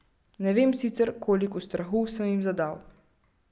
Ne vem sicer, koliko strahu sem jim zadal.